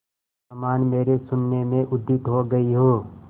समान मेरे शून्य में उदित हो गई हो